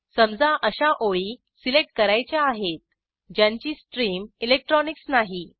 समजा अशा ओळी सिलेक्ट करायच्या आहेत ज्यांची स्ट्रीम इलेक्ट्रॉनिक्स नाही